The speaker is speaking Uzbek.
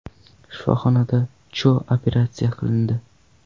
Shifoxonada Cho operatsiya qilindi.